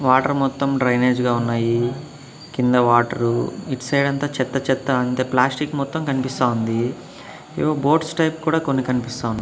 water మొత్తం drainage గా ఉన్నాయి కింద వాటరు ఇటు సైడంతా చెత్త చెత్తంతా ప్లాస్టిక్ మొత్తం కనిపిస్తా ఉంది ఏవో బోట్స్ టైప్ కూడా కొన్ని కన్పిస్తా వు--